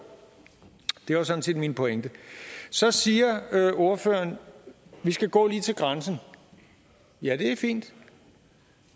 det var sådan set min pointe så siger ordføreren at vi skal gå lige til grænsen ja det er fint